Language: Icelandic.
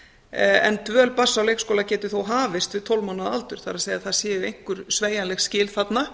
en dvöl barns á leikskóla geti þó hafist við tólf mánaða aldur það er það séu einhver sveigjanleg skil þarna